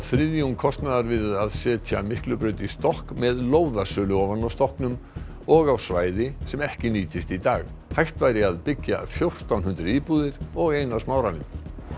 þriðjung kostnaðar við að setja Miklubraut í stokk með lóðasölu ofan á stokknum og á svæði sem ekki nýtist í dag hægt væri að byggja fjórtán hundruð íbúðir og eina Smáralind